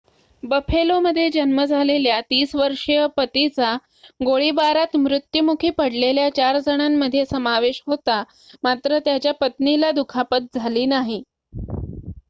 बफेलोमध्ये जन्म झालेल्या ३० वर्षीय पतीचा गोळीबारात मृत्युमुखी पडलेल्या चार जणांमध्ये समावेश होता मात्र त्याच्या पत्नीला दुखापत झाली नाही